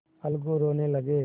अलगू रोने लगे